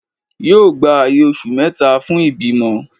yóò gbá ayè osù meta fún ibimọ